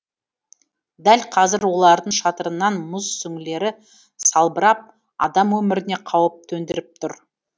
дәл қазір олардың шатырынан мұз сүңгілері салбырап адам өміріне қауіп төндіріп тұр